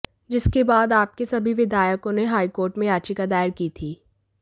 जिसके बाद आप के सभी विधायकों ने हाईकोर्ट में याचिका दायर की थी